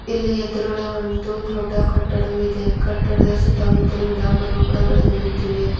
ಇಲ್ಲಿ ಎದ್ರುಗಡೆ ಒಂದು ದೊಡ್ಡ ಕಟ್ಟಡವು ಇದೆ ಕಟ್ಟಡದ ಸುತ್ತ ಮುತ್ತಲು ಗಿಡ ಮರಗಳು ಕೂಡ ಬೆಳೆದು ನಿಂತಿವೆ.